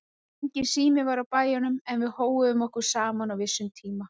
Enginn sími var á bæjunum en við hóuðum okkur saman á vissum tíma.